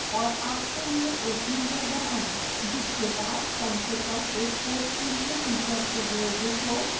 और आपके लिए एक यूजर बनाएं जिसके पास कम से कम एक course के लिए teacher privileges हो